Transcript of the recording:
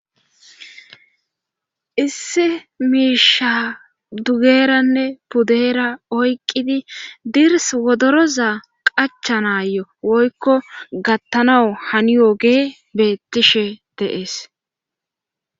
isse miisha dugeeranne pudeera oyqqidi dirs wodoroza qacha naayo woykko gattanawu haniyoogee beettishe deees